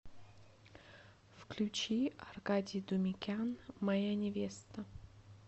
включи аркадий думикян моя невеста